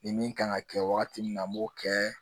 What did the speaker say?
Ni min kan ka kɛ wagati min na an b'o kɛ